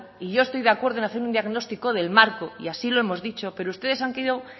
y yo estoy de acuerdo en hacer un diagnóstico del marco y así lo hemos dicho pero ustedes han querido